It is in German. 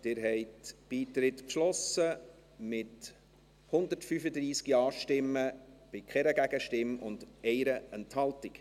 Sie haben den Beitritt beschlossen, mit 135 Ja- gegen 0 Nein-Stimmen bei 1 Enthaltung.